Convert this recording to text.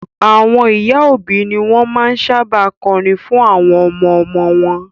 Àwọn ìyá òbí ni wọn máa ń sábà kọrin fún àwọn ọmọ-ọmọ wọn